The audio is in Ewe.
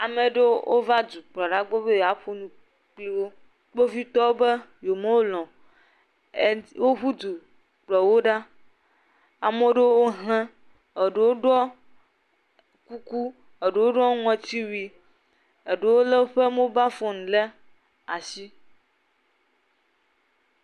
Ame aɖewo va Edukplɔla gbɔ be yewoa ƒonu kple wò. Kpovitɔwo be yewo melɔ o. Woƒu du kplɔ wò ɖo. Ame aɖewo hlẽ, eɖewo ɖɔ kuku, aɖewo ɖɔ ŋuti wuie eɖewo le woƒe mobile phone ɖe asi.